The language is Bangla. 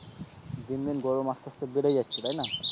দিন দিন আস্তে আস্তে গরম বেড়ে যাচ্ছে,